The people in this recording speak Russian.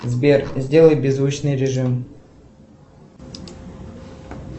сбер сделай беззвучный режим